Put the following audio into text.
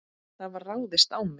Það var ráðist á mig.